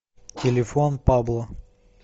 телефон пабло